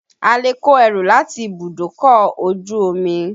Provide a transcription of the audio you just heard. A lè kó ẹrù láti ibùdókọ̀ ojú omi.